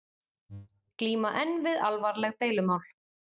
Glíma enn við alvarleg deilumál